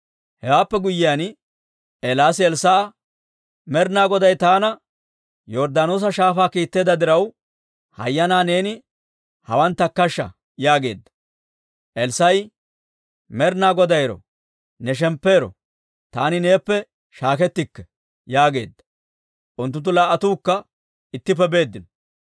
Hewaappe guyyiyaan, Eelaasi Elssaa'a, «Med'ina Goday taana Yorddaanoosa Shaafaa kiitteedda diraw, hayyanaa neeni hawaan takkashsha» yaageedda. Elssaa'i, «Med'ina Goday ero! Ne shemppu ero! Taani neeppe shaakkettikke» yaageedda. Unttunttu laa"attuukka ittippe beeddino.